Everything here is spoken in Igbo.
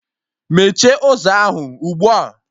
Mechie ụzọ ahụ ugbua!